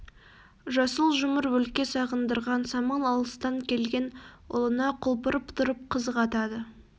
жасыл жұмыр өлке сағындырған самал алыстан келген ұлына құлпырып тұрып қызық атады